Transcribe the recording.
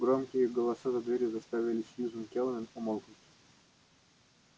громкие голоса за дверью заставили сьюзен кэлвин умолкнуть